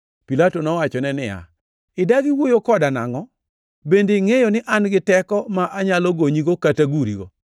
Pilato nowachone niya, “Idagi wuoyo koda nangʼo? Bende ingʼeyo ni an gi teko ma anyalo gonyigo kata gurigo?”